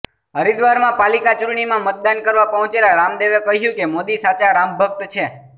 હરિદ્વારમાં પાલિકા ચૂંટણીમાં મતદાન કરવા પહોંચેલા રામદેવે કહ્યું કે મોદી સાચા રામભક્ત છે